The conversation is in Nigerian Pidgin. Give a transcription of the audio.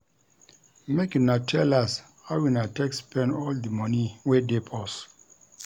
Make una tell us how una take spend all di moni wey dey purse.